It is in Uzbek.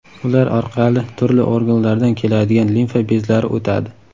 Ular orqali turli organlardan keladigan limfa bezlari o‘tadi.